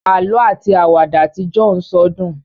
àlọ ati Àwàdà Tí John so dùn